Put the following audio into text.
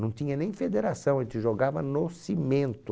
Não tinha nem federação, a gente jogava no cimento.